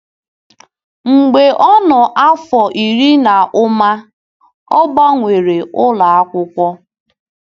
Mgbe ọ nọ n'afọ iri na ụma, ọ gbanwere ụlọ akwụkwọ.